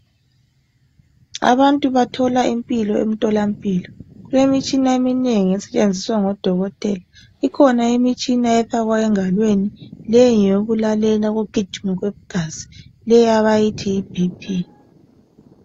Abantu bathola impilo emtholampilo kulemitshina eminengi esetshenziswa ngodokotela ikhona imitshina efakwa engalweni leyo ngeyokulalela ukugijima kwegazi leyi abayithi yi BP